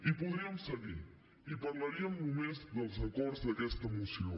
i podríem seguir i parlaríem només dels acords d’aquesta moció